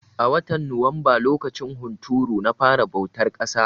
A watan Nuwamba lokacin hunturu na fara bautar ƙasa.